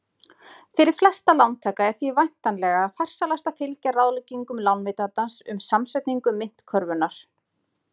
Fyrir flesta lántaka er því væntanlega farsælast að fylgja ráðleggingum lánveitandans um samsetningu myntkörfunnar.